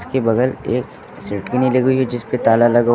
के बगल एक लगी हुई है जिस पे ताला लगा हुआ--